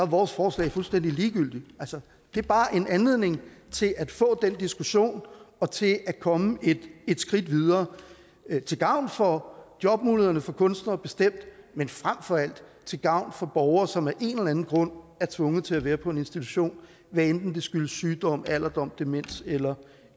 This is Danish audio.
vores forslag fuldstændig ligegyldigt altså det er bare en anledning til at få den diskussion og til at komme et skridt videre til gavn for jobmulighederne for kunstnere bestemt men frem for alt til gavn for de borgere som af en eller anden grund er tvunget til at være på en institution hvad enten det skyldes sygdom alderdom demens eller